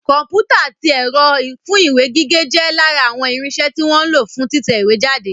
Kọ̀mpútà àti ẹ̀rọ fún ìwé gígé jẹ́ lára àwọn irinsẹ́ tí wọ́n ń lo fún títẹ ìwé jáde